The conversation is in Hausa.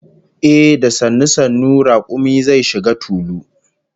Ehh, da sannu sannu rakumi zai shiga tulu